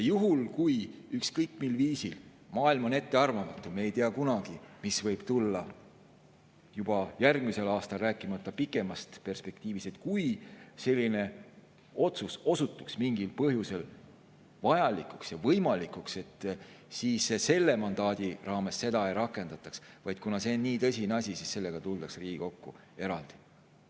Juhul, kui ükskõik mis – maailm on ettearvamatu ja me ei tea kunagi, mis võib juba järgmisel aastal, rääkimata pikemast perspektiivist – selline otsus osutuks vajalikuks ja võimalikuks, siis selle mandaadi raames seda ei rakendataks, vaid kuna see on nii tõsine asi, siis sellega tuldaks Riigikokku eraldi.